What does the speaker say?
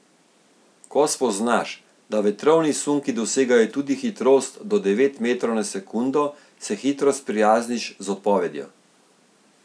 Ko spoznaš, da vetrovni sunki dosegajo tudi hitrost do devet metrov na sekundo, se hitro sprijazniš z odpovedjo.